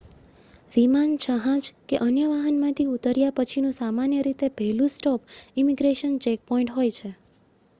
વિમાન જહાજ કે અન્ય વાહનમાંથી ઉતર્યા પછીનું સામાન્ય રીતે પહેલું સ્ટૉપ ઇમિગ્રેશન ચેકપૉઇન્ટ હોય છે